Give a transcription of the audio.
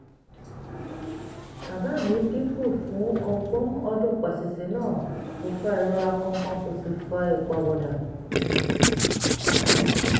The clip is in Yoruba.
bàbá mi díìpù fún ọgbọ̀n ọdún paṣíìṣì náà kò fa ìrora kankan kò sì fa ìpàwọ̀dà